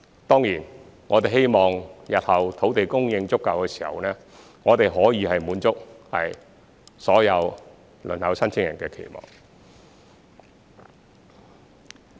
當然，我們希望日後土地供應足夠的時候，我們可以滿足所有輪候申請人的期望。